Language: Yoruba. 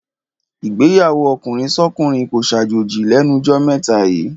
Ìgbéyàwó ọkùnrinsọ́kùnrin kó ṣàjòjì lẹ́nu jọ́ mẹ́ta yíì.